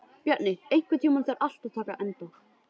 Bjarni, einhvern tímann þarf allt að taka enda.